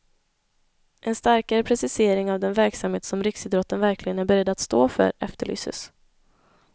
En starkare precisering av den verksamhet som riksidrotten verkligen är beredd att stå för efterlyses.